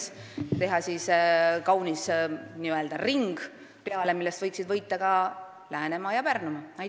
Saab teha kauni ringi peale ja sellest võiksid võita ka Läänemaa ja Pärnumaa.